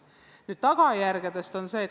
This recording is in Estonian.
Nüüd tagajärgedest.